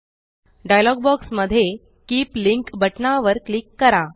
dialogue box मध्ये keep link बटना वर क्लिक करा